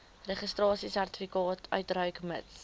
registrasiesertifikaat uitreik mits